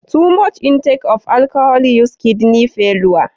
Too much intake of alcohol used kidney failure.